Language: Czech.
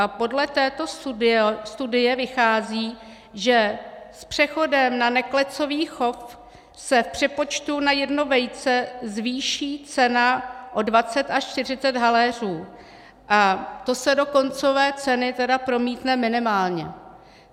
A podle této studie vychází, že s přechodem na neklecový chov se v přepočtu na jedno vejce zvýší cena o 20 až 40 haléřů, a to se do koncové ceny tedy promítne minimálně.